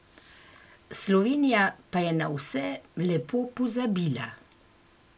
Slovenija pa je na vse lepo pozabila.